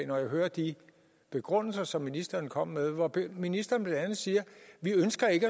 når jeg hører de begrundelser som ministeren kommer med hvor ministeren blandt andet siger vi ønsker ikke